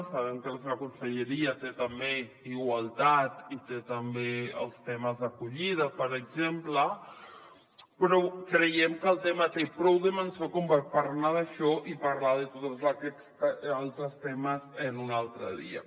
sabem que la seva conselleria té també igualtat i té també els temes d’acollida per exemple però creiem que el tema té prou dimensió com per parlar d’això i parlar de tots aquests altres temes un altre dia